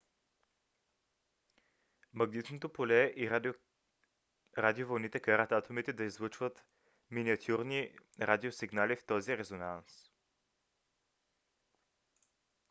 магнитното поле и радиовълните карат атомите да излъчват миниатюрни радиосигнали в този резонанс